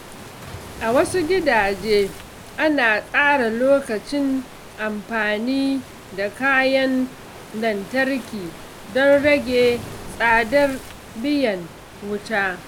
A wasu gidaje, ana tsara lokacin amfani da kayan lantarki don rage tsadar biyan wuta.